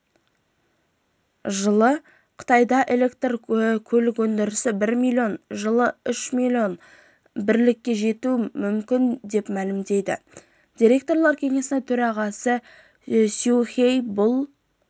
жылы қытайда электрлі көлік өндірісі бір миллион жылы үш миллион бірлікке жетуі мүмкін деп мәлімдейді директорлар кеңесінің төрағасы сюй хейи бұл